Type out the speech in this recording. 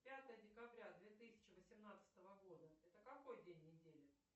пятое декабря две тысячи восемнадцатого года это какой день недели